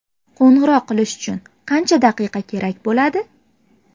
Qo‘ng‘iroq qilish uchun qancha daqiqa kerak bo‘ladi?